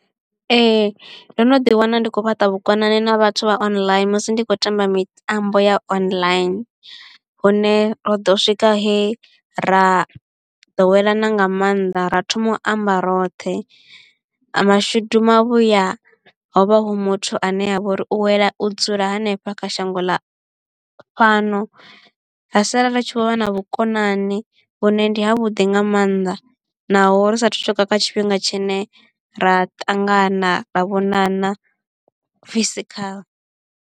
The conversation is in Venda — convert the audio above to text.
Ee ndo no ḓi wana ndi khou fhaṱa vhukonani na vhathu vha online musi ndi tshi khou tamba mitambo ya online hune ro ḓo swika he ra ḓowelana nga maanḓa ra thoma u amba roṱhe mashudu mavhuya hovha hu muthu ane a vha uri u wela u dzula hanefha kha shango ḽa fhano ra sala ri tshi vho vha na vhukonani vhune ndi ha vhuḓi nga mannḓa naho ri sathu swika kha tshifhinga tshine ra ṱangana ra vhonana physical.